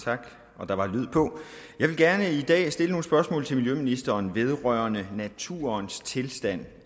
tak der var lyd på jeg vil gerne i dag stille nogle spørgsmål til miljøministeren vedrørende naturens tilstand